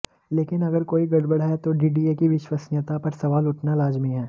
लेकिन अगर कोई गड़बड़ है तो डीडीए की विश्वसनीयता पर सवाल उठना लाजिमी है